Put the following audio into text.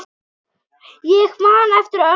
Ég man eftir ömmu.